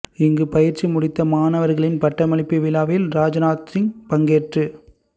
இங்கு பயிற்சி முடித்த மாணவர்களின் பட்டமளிப்பு விழாவில் ராஜ்நாத் சிங் பங்கேற்று